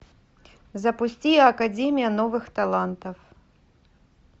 запусти академия новых талантов